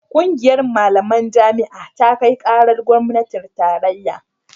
ƙungiyar malaman jami'a ta kai karar gwamnatin tarayya